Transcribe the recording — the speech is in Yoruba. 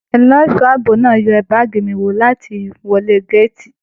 Ẹlẹṣọ ààbò náà yẹ baagi mí wò ni atiwọlè gàátí.